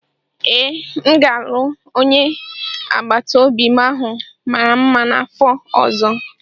Ee, m ga-alụ onye agbata obi m ahụ mara mma n'afọ ọzọ.